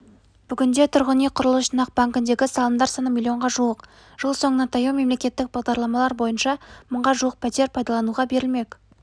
бүгінде тұрғын үй құрылыс жинақ банкіндегі салымдар саны миллионға жуық жыл соңына таяу мемлекеттік бағдарламалар бойынша мыңға жуық пәтер пайдалануға берілмек